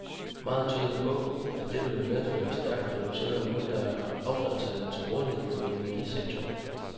Meget tyder på, at dette vil medføre stærkt reducerede mængder af affaldshalm til rådighed for energisektoren.